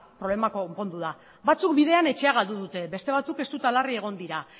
problema konpondu da batzuk bidean etxea galdu dute beste batzuk estu eta larri egon dira